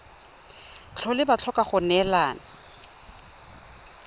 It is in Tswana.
tlhole ba tlhoka go neelana